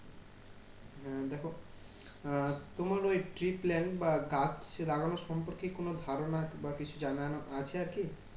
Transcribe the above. হম দেখো আহ তোমার ওই tree plant বা গাছ লাগানোর সম্পর্কে কোনো ধারণা বা কিছু জানানো আছে আর কি?